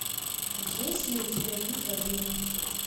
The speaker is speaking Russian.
есть ли у тебя битва за иммунитет